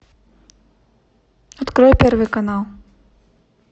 открой первый канал